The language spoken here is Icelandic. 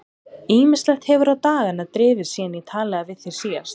Ýmislegt hefur á dagana drifið síðan ég talaði við þig síðast.